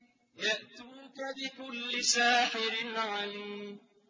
يَأْتُوكَ بِكُلِّ سَاحِرٍ عَلِيمٍ